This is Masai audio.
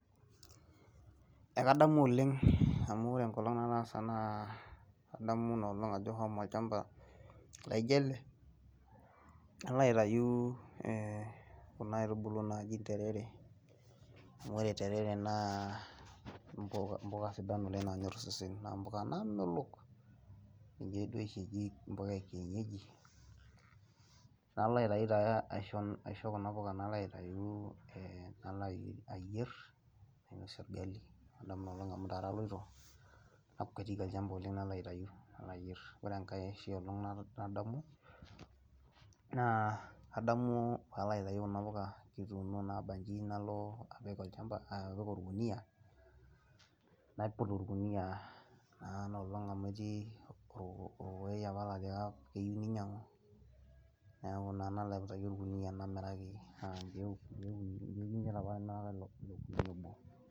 Ekadamu oleng amu wore enkolong nataasa naa, adamu inaa olong ajo ashomo olchampa laijo ele ,naloo aitayu eeh kuna aitubulu naaji interere , amu wore interere naa mpuka sidan oleng naanyor osesen naa mpuka naamelok. Ninje duo oshi eji mpuka eekienyeji, naloo aitayu taa aisho kuna puka naloo aitayu ayerr , nainosie orgali ,kadamu inaa olong amu intare aloito , nakweti olchampa naloo aitayu. Wore engai olong nadamu , naa adamu paalo aitayu kuna puka , kituuno naabanji naloo apik orkunia naiput orkunia naa ina olong amu etii orkokei apa laatiaka keyeu ninyangu , niaku naa naloo aiputaki orkunia namiraki. Naa inkeek imiet APA atimiraka ilo kunia obo.